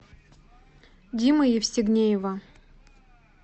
димы евстигнеева